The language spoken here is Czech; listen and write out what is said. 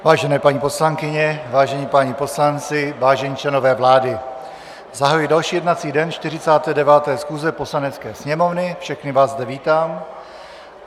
Vážené paní poslankyně, vážení páni poslanci, vážení členové vlády, zahajuji další jednací den 49. schůze Poslanecké sněmovny, všechny vás zde vítám.